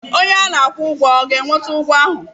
Onye a na-akwụ ụgwọ ọ ga-eweta ụgwọ ahụ?